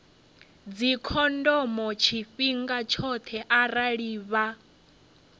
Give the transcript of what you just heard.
dzikhondomo tshifhinga tshoṱhe arali vha